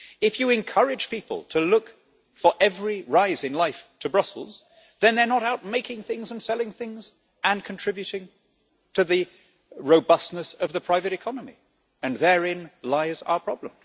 If you encourage people to look for every rise in life to Brussels, then they are not out making things and selling things and contributing to the robustness of the private economy, and therein lies our problem.